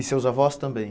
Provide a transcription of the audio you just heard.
E seus avós também?